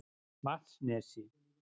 Vatnsnesi